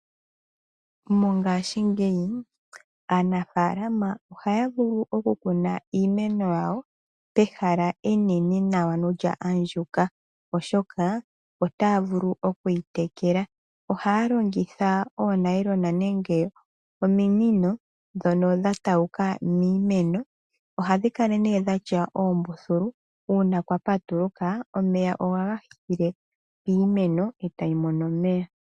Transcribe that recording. Mongashingeyi aanafaalama ohaya vulu okukuna iimeno yawo pehala enene nawa ano lya andjuka, oshoka otaya vulu okuyitekela. Ohaya longitha oonayilona nenge ominino ndhono dha tauka miimeno. Ohadhi kala ne dhatya oombululu uuna kwa patuluka omeya ohaga thikile piimeno etayi mono omeya.